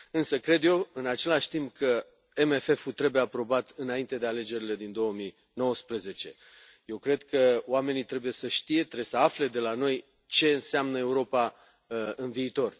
Însă, cred eu, în același timp, că MFF ul trebuie aprobat înainte de alegerile din 2019. Eu cred că oamenii trebuie să știe, trebuie să afle de la noi ce înseamnă Europa în viitor.